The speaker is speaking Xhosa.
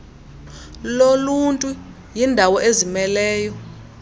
loluntu yindawo ezimeleyo